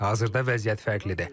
Hazırda vəziyyət fərqlidir.